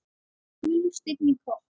Gulur steinn í kopp.